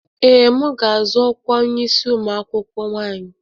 Ee, m ga-azọ ọkwa onye isi ụmụ akwụkwọ nwanyị